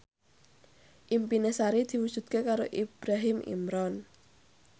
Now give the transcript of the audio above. impine Sari diwujudke karo Ibrahim Imran